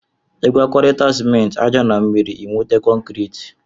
Igwakọrita sịmenti, aja na mmiri ịnweta kọnkriti